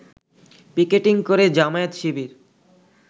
picketing করে জামায়াত শিবির